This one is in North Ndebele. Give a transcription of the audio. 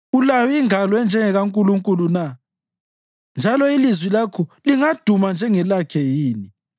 Ulayo ingalo enjengekaNkulunkulu na, njalo ilizwi lakho lingaduma njengelakhe yini?